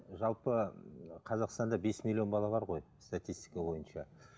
жалпы қазақстанда бес миллион бала бар ғой статистика бойынша